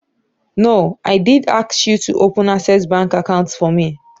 No, I did ask you to open access bank account for me.